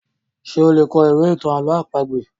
Ṣé o lè kọ ìwé ìtàn àlọ́ àpagbè?